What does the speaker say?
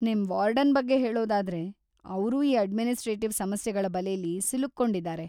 ನಿಮ್ ವಾರ್ಡನ್‌ ಬಗ್ಗೆ ಹೇಳೊದಾದ್ರೆ ಅವ್ರೂ ಈ ಅಡ್ಮಿನಿಸ್ಟ್ರೇಟಿವ್‌ ಸಮಸ್ಯೆಗಳ ಬಲೆಲಿ ಸಿಲುಕ್ಕೊಂಡಿದಾರೆ.